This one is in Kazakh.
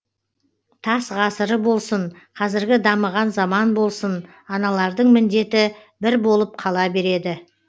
тас ғасыры болсын қазіргі дамыған заман болсын аналардың міндеті бір болып қала береді